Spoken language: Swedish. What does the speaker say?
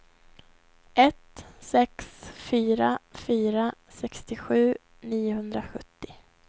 ett sex fyra fyra sextiosju niohundrasjuttio